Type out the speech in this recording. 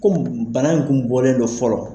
Kɔmi bana in kun bɔlen dɔ fɔlɔ